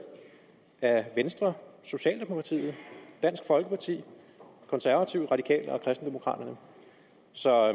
af venstre socialdemokratiet dansk folkeparti konservative radikale venstre og kristendemokraterne så